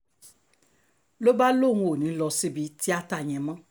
ló bá lóun ò ní í lọ síbi tíátá yẹn mọ́